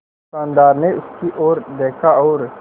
दुकानदार ने उसकी ओर देखा और